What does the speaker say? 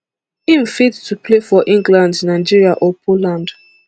im fit to play for england nigeria or poland